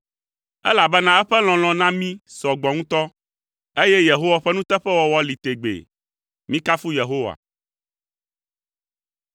Elabena eƒe lɔlɔ̃ na mí sɔ gbɔ ŋutɔ, eye Yehowa ƒe nuteƒewɔwɔ li tegbee. Mikafu Yehowa.